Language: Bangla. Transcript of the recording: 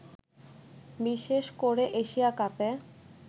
বিশেষ করে এশিয়া কাপে